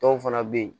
Dɔw fana bɛ yen